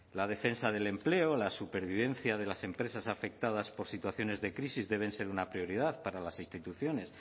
la defensa del empleo la supervivencia de las empresas afectadas por situaciones de crisis deben ser una prioridad para las instituciones